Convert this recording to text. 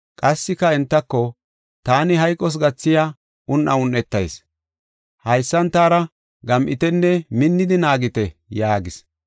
Qassika entako, “Taani hayqos gathiya un7a un7etas. Haysan taara gam7itenne minnidi naagite” yaagis.